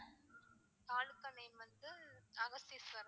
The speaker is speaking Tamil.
தாலுகா name வந்து அகஸ்தீஸ்வரம்.